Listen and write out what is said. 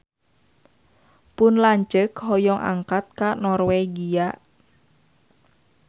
Pun lanceuk hoyong angkat ka Norwegia